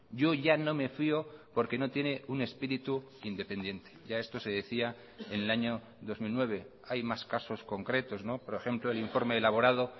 yo ya no me fío porque no tiene un espíritu independiente ya esto se decía en el año dos mil nueve hay más casos concretos por ejemplo el informe elaborado